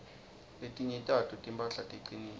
letinye tato timphahla ticinile